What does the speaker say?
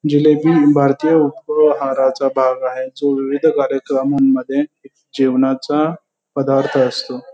जिलेबी भारतीय उपहाराचा भाग आहे जो विविध कार्यक्रमामध्ये जेवणाचा पदार्थ असतो.